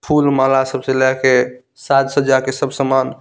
फूल माला सबसे लाय के साज सजा के सब सामान --